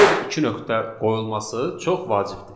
Burada iki nöqtə qoyulması çox vacibdir.